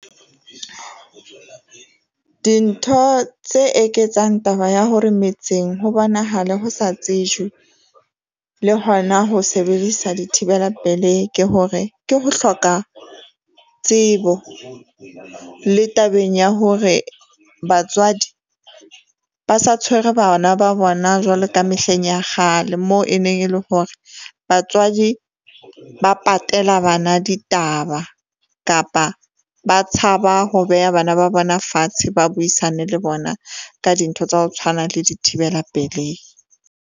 Dintho tse eketsang taba ya hore metseng ho bonahale ho sa tsejwe le hona ho sebedisa dithibela pelehi ke hore, ke ho hloka tsebo le tabeng ya hore batswadi ba sa tshwere bana ba bona jwalo ka mehleng ya kgale. Moo e neng e leng hore batswadi ba patela bana ditaba, kapa ba tshaba ho beha bana ba bona fatshe, ba buisane le bona ka dintho tsa ho tshwana, le dithibela pelehi.